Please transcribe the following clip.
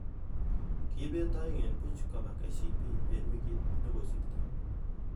Kibet aeng eng buch koba KCB eng wikit nekosirtoi.